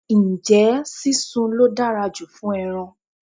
Ǹjẹ́ sísun ló dára jù fún ẹran?